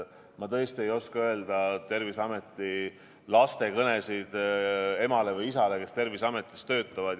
Ma tõesti ei oska öelda midagi töötajate laste kõnede kohta oma emale või isale, kes Terviseametis töötab.